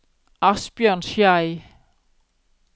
Asbjørn Schei